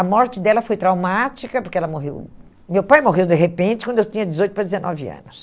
A morte dela foi traumática, porque ela morreu... Meu pai morreu de repente, quando eu tinha dezoito para dezenove anos.